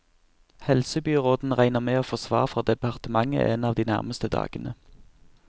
Helsebyråden regner med å få svar fra departementet en av de nærmeste dagene.